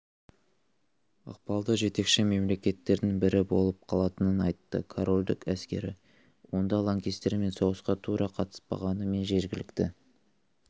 ықпалды жетекші мемлекеттердің бірі болып қалатынын айтты королдік әскері онда лаңкестермен соғысқа тура қатыспағанымен жергілікті